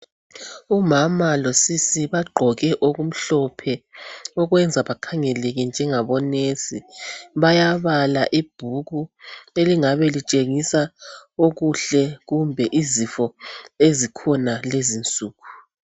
Umama losisi bagqoke okumhlophe, okwenza bakhangeleke njengabo "nurse", bayabala ibhuku elingabe litshengisa okuhle kumbe izifo ezikhona lezi nsuku.